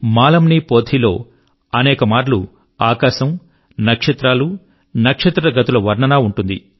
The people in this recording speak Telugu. మాలమ్ నీ పోథీ లో అనేక మార్లు ఆకాశము నక్షత్రాలు నక్షత్రగతుల వర్ణన ఉంటుంది